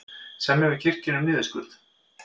Semja við kirkjuna um niðurskurð